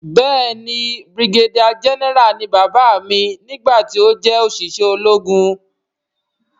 Béèni brigadier general ni bàbá mi gbà ti ọ jé oṣiṣẹ ológun.